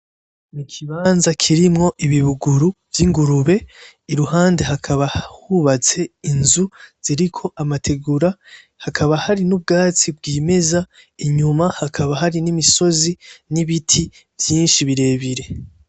N'ikibanza kirimwo ibibuguru vy'ingurube iruhande hakaba hubatse inzu ziriko amategura hakaba hari n'ubwatsi bw'imeza inyuma hakaba hari n'imisozi n'ibiti vyinshi birebire,